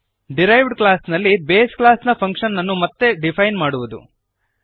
derived class ನಲ್ಲಿ base ಕ್ಲಾಸ್ನ ಫಂಕ್ಶನ್ಅನ್ನು ಮತ್ತೆ ಡಿಫೈನ್ ಮಾಡುವದು